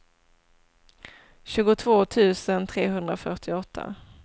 tjugotvå tusen trehundrafyrtioåtta